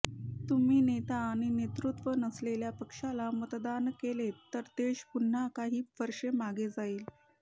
तुम्ही नेता आणि नेतृत्त्व नसलेल्या पक्षाला मतदान केलेत तर देश पुन्हा काही वर्षे मागे जाईल